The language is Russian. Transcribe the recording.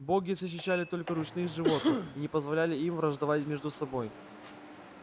боги защищали только ручных животных и не позволяли им враждовать между собой